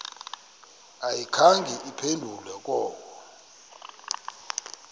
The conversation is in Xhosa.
ayikhange iphendule koko